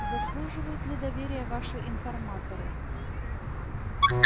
заслуживают ли доверия ваши информаторы